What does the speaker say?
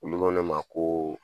Olu ko ne ma ko